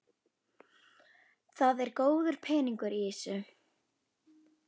Það er góður peningur í þessu.